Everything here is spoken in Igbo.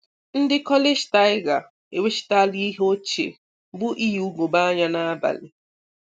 Ndị College tiger e wechitala ihe ochie bụ iyi ugogbe-anya n'abalị.